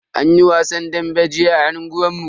Anyi wasan dambe jiya a unguwan mu.